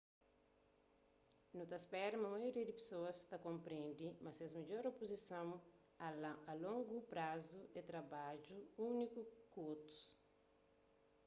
nu ta spera ma maioria di pesoas ta konprendi ma ses midjor opson a longu prazu é trabadja unidu ku otus